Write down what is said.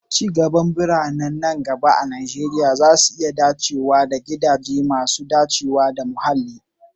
Ci gaban birane nan gaba a Najeriya zai iya haɗa da gidaje masu dacewa da muhalli.